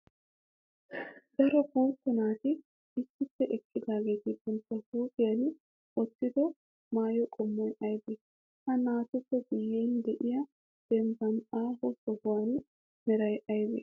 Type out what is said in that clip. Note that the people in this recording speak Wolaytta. Daro guutta naati issippe eqqidaageeti bantta huuphiyan wottido maayo qommoy aybee? Ha naatuppe guyen de'iyaa dembbanne aaho sohuwaa meray aybee?